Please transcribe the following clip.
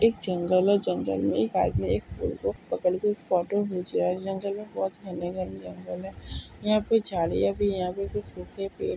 एक जंगल है जंगल मे एक आदमी एक फूल को पकड़ के फोटो खींच रहा है जंगल मे बहुत घने-घने जंगल है यहा पे झाड़िया भी है यहा पे कुछ सूखे पेड़--